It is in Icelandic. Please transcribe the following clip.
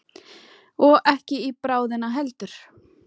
Og ekki í bráðina heldur.